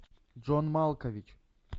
джон малкович